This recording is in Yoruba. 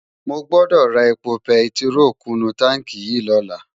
Mógbódó rá épó pètiró kún nu tánki yi lòlá